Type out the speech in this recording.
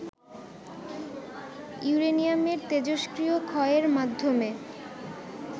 ইউরেনিয়ামের তেজষ্ক্রিয় ক্ষয়ের মাধ্যমে